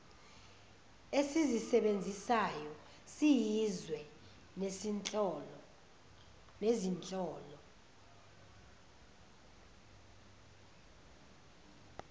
esizisebenzisayo siyizwe nezinhlolo